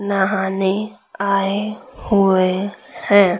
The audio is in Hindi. नहाने आए हुए हैं।